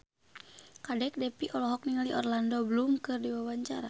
Kadek Devi olohok ningali Orlando Bloom keur diwawancara